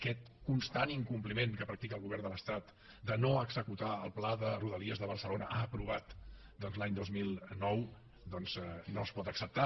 aquest constant incompliment que practica el govern de l’estat de no executar el pla de rodalies de barcelona aprovat doncs l’any dos mil nou no es pot acceptar